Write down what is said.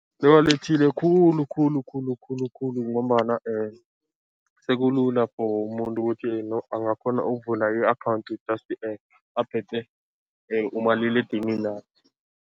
Kuwalethile khulu khulu khulu khulu khulu ngombana sekulula for umuntu ukuthi angakghona ukuvula i-account just aphethe umaliledinininakhe.